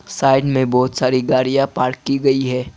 Side मे बहुत सारी गाड़ियां पार्क की गई है।